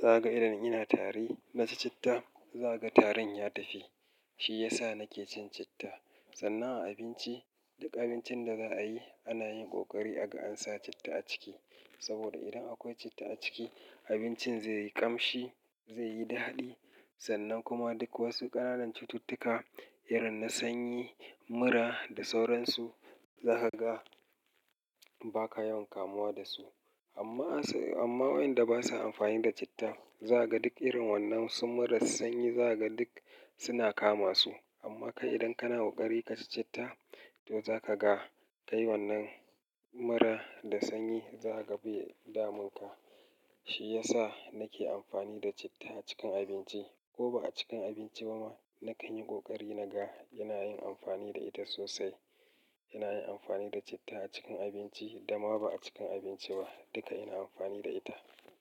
Za ka ga idan ina tari na ci citta, za ka ga tarin ya tafi. Shi ya sa nake cin citta. Sannan a abinci, duk abincin da za a yi, ana yin ƙoƙari aga an sa citta a ciki. Saboda idan akwai citta a ciki, abincin zai yi ƙamshi, zai yi daɗi. Sannan kuma duk wasu ƙananan cututtuka irin na sanyi, mura da sauransu, za ka ga ba ka yawan kamuwa da su. Amma asai, amma wayanda ba sa amfani da citta, za ka ga duk irin wannan su mura sanyi za ka ga duk suna kama su. Amma kai idan kana ƙoƙari ka ci citta, to za ka ga kai wannan mura da sanyi za ka bai damunka. Shi ya sa nake amfani da citta a cikin abinci. Ko ba a cikin abinci ba ma, na kan yi ƙoƙari naga ina yin amfani da ita sosai. Ina yin amfani da citta a cikin abinci da ma ba a cikin abinci ba, duka ina amfani da ita.